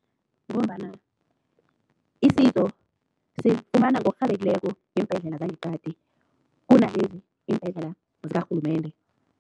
Ngombana isizo silifumana ngokurhabileko ngeembhedlela zangeqadi, kunalezi iimbhedlela zikarhulumende.